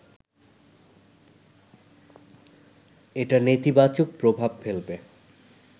এটা নেতিবাচক প্রভাব ফেলবে